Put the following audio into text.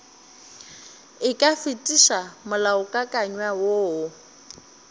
e ka fetiša molaokakanywa woo